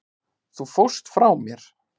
Þú fórst frá mér.